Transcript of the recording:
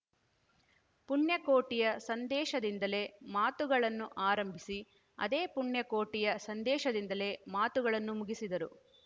ಪುಣ್ಯಕೋಟಿಯ ಸಂದೇಶದಿಂದಲೇ ಮಾತುಗಳನ್ನು ಆರಂಭಿಸಿ ಅದೇ ಪುಣ್ಯಕೋಟಿಯ ಸಂದೇಶದಿಂದಲೇ ಮಾತುಗಳನ್ನು ಮುಗಿಸಿದರು